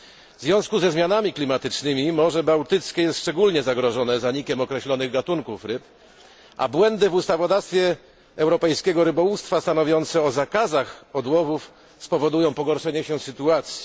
W związku ze zmianami klimatycznymi Morze Bałtyckie jest szczególnie zagrożone zanikiem określonych gatunków ryb, a błędy w ustawodawstwie europejskiego rybołówstwa, stanowiące o zakazach połowów, spowodują pogorszenie się sytuacji.